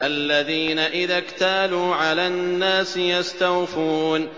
الَّذِينَ إِذَا اكْتَالُوا عَلَى النَّاسِ يَسْتَوْفُونَ